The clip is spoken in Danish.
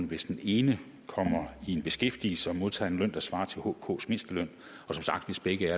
hvis den ene kommer i beskæftigelse og modtager en løn der svarer til hks mindsteløn og som sagt hvis begge